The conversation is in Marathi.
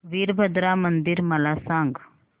वीरभद्रा मंदिर मला सांग